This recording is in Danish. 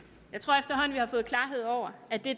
jeg har fået klarhed over at det